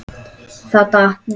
Það datt. niður.